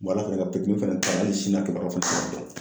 ka nin fana to yan, hali sini ,a kɛbaruya fana ma dɔn.